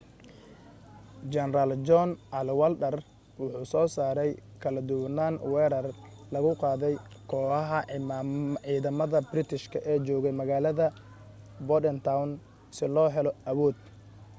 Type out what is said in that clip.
jeneraal john cadwalder wuxuu soo saaray kala duwanan weerar lagu qaaday kooxaxa ciidamada british ee joogay magalada bordentown si loo helo awood